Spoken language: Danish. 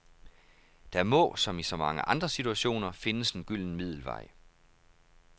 Der må, som i så mange andre situationer, findes en gylden middelvej.